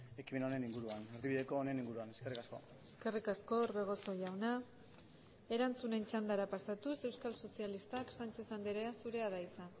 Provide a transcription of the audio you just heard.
ekimen honen inguruan erdibideko honen inguruan eskerrik asko eskerrik asko orbegozo jauna erantzunen txandara pasatuz euskal sozialistak sánchez andrea zurea da hitza